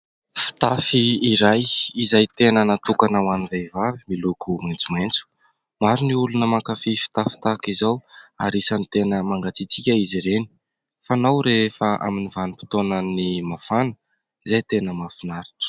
Fitafy iray izay tena nahatokana ho any vehivavy miloko maintso maintso. Maro ny olona mankafy fitafy tahaka izao ary an'isany tena mangatsitsika izy ireny, fanao rehefa amin'ny vanom-potaona ny mafana, izay tena mahafinaritra.